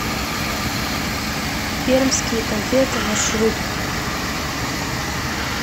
пермские конфеты маршрут